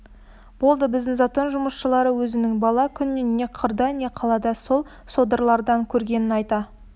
болды біздің затон жұмысшылары өзінің бала күнінен не қырда не қалада сол содырлардан көргенін айта